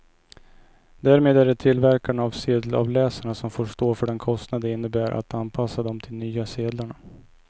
Därmed är det tillverkarna av sedelavläsarna som får stå för den kostnad det innebär att anpassa dem till de nya sedlarna.